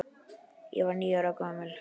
Ég var níu ára gamall.